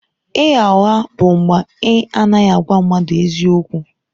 Ịgha ụgha bụ mgbe ị anaghị agwa mmadụ eziokwu.